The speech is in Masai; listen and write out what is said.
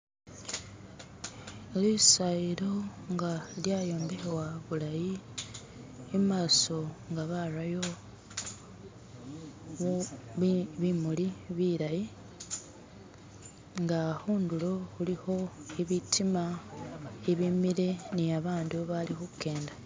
Lisayilo nga lyayombekhebwa bulayi imaaso nga barayo bimuli bilayi nga khundulo khulikho ibitiima ibimile ni babandu bali khukenda.